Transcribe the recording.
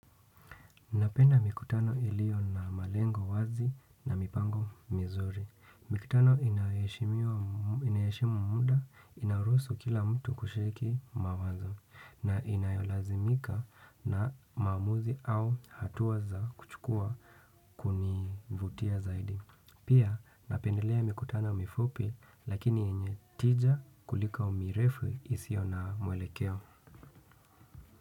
Napenda mikutano ilio na malengo wazi na mipango mizuri. Mikutano inayoheshimiwa inayoheshimu muda inaruhusu kila mtu kushiriki mawazo na inayolazimika na maamuzi au hatua za kuchukua kunivutia zaidi. Pia napendelea mikutano mifupi lakini yenye tija kuliko mirefu isio na mwelekeo.